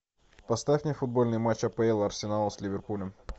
поставь мне футбольный матч апл арсенал с ливерпулем